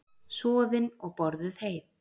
Soðin og borðuð heit.